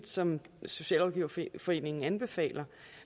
som socialrådgiverforeningen anbefaler